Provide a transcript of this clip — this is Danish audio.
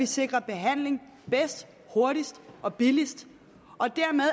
sikrer behandling bedst hurtigst og billigst og dermed